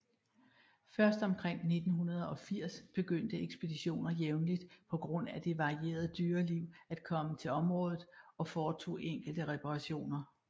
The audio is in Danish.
Først omkring 1980 begyndte ekspeditioner jævnligt på grund af det varierede dyreliv at komme til området og foretog enkelte reparationer